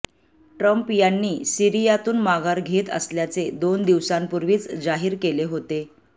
Trump यांनी सीरियातून माघार घेत असल्याचे दोन दिवसांपूर्वीच जाहीर केले होते